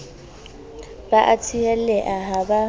ba a tsieleha ha ba